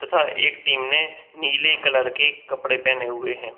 तथा एक टीम ने नीले कलर की कपड़े पहने हुए है।